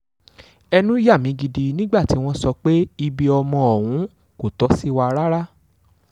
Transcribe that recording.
ẹnu yà mí gidi nígbà tí wọ́n sọ pé ibi ọmọ ọ̀hún kò tó ṣì wà rárá